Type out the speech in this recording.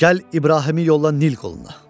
Gəl İbrahimi yolla Nil qoluna.